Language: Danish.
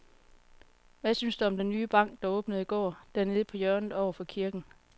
Hvad synes du om den nye bank, der åbnede i går dernede på hjørnet over for kirken?